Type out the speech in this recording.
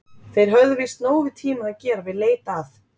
Þeir höfðu víst nóg við tímann að gera við leit að